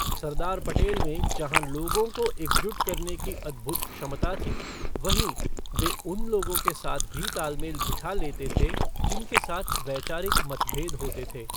सरदार पटेल में जहाँ लोगों को एकजुट करने की अद्भुत क्षमता थी, वहीं, वे उन लोगों के साथ भी तालमेल बिठा लेते थे जिनके साथ वैचारिक मतभेद होते थे।